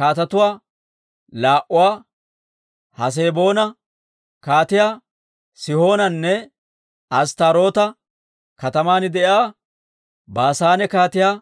kaatetuwaa laa"uwaa, Haseboona Kaatiyaa Sihoonanne Asttaaroota kataman de'iyaa Baasaane Kaatiyaa